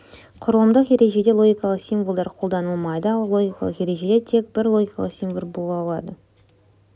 құрылымдық ережеде логикалық символдар қолданылмайды ал логикалық ережеде тек бір логикалық символ бола алады